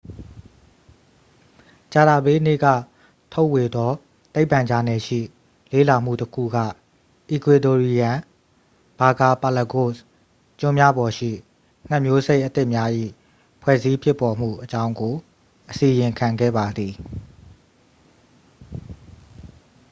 ကြာသပတေးနေ့ကထုတ်ဝေသော သိပ္ပံဂျာနယ်ရှိ လေ့လာမှုတစ်ခုက အီကွေဒိုရီယန် ဘာကာပါလဂို့စ် ကျွန်းများပေါ်ရှိ ငှက်မျိုးစိတ်အသစ်များ၏ဖွဲ့စည်းဖြစ်ပေါ်မှုအကြောင်းကို အစီရင်ခံခဲ့ပါသည်